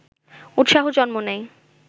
উৎসাহ জন্ম নেয়